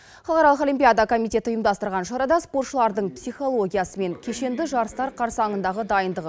халығаралық олимпиада комитеті ұйымдастырған шарада спортшылардың психологиясы мен кешенді жарыстар қарсаңындағы дайындығы